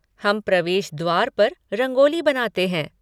हम प्रवेश द्वार पर रंगोली बनाते हैं।